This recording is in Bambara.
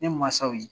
Ne mansaw ye